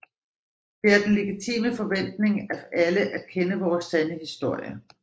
Det er den legitime forventning af alle at kende vores sande historie